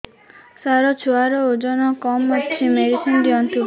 ସାର ଛୁଆର ଓଜନ କମ ଅଛି ମେଡିସିନ ଦିଅନ୍ତୁ